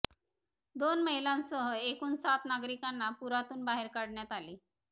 दोन महिलांसह एकूण सात नागरिकांना पुरातून बाहेर काढण्यात आले